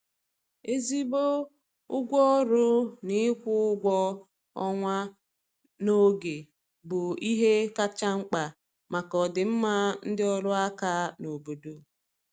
ezigbo ụgwọ ọrụ na ịkwụ ụgwọ ọnwa na oge bụ ihe kacha mkpa maka ọdịmma ndị ọrụ aka n' obodo